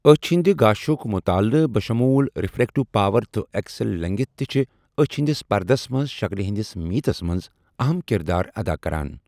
أچھ ہٕنٛدِ گاشُک مُطالعہ بشمول رِفرٛیکٹِو پاور تہٕ ایكسیل لیٚنٛگتھ تہِ چِھ أچھ ہِنٛدِس پردس منٛز شکلہِ ہِنٛدِس میٖژس منٛز اَہم کِردار اَدا کَران۔